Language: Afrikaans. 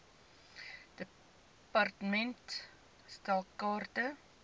department stel kaarte